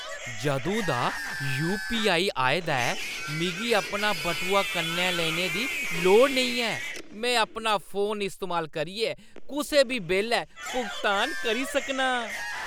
जदूं दा यू.पी.आई. आए दा ऐ, मिगी अपना बटुआ कन्नै लेने दी लोड़ नेईं ऐ। में अपना फोन इस्तेमाल करियै कुसै बी बेल्लै भुगतान करी सकनां।